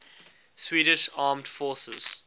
swedish armed forces